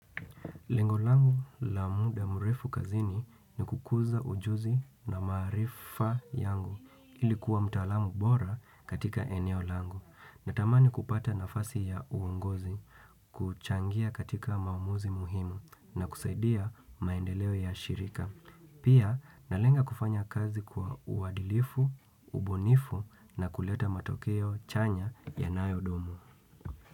Lengo langu la muda mrefu kazini ni kukuza ujuzi na maarifa yangu ili kuwa mtaalamu bora katika eneo langu. Natamani kupata nafasi ya uongozi kuchangia katika maamuzi muhimu na kusaidia maendeleo ya shirika. Pia, nalenga kufanya kazi kwa uadilifu, ubunifu na kuleta matokeo chanya yanayodumu.